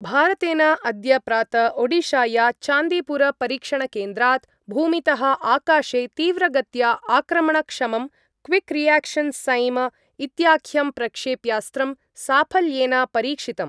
भारतेन अद्य प्रात ओडिशाया चान्दीपुरपरीक्षणकेन्द्रात् भूमितः आकाशे तीव्रगत्या आक्रमणक्षमं क्विक् रियाक्शन् सैम इत्याख्यं प्रक्षेप्यास्त्रं साफल्येन परीक्षितम्।